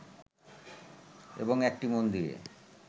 এবং একটি মন্দিরে